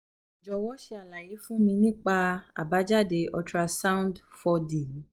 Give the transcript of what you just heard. jọwọ ṣe alaye fun mi nipa abajade ultra sound four d mi